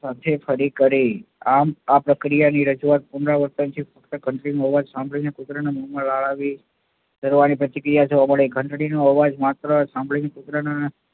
સાથે ફરી કરી. આમ આ પ્રક્રિયાની રજૂઆત પુનરાવર્તનથી બનતી હોવાથી કુતરાના મોમાં લાળ આવી ઝરવાની પ્રતિક્રિયા જોવા મળી. ઘંટડી નો અવાજ માત્ર સાંભળીને કુતરાના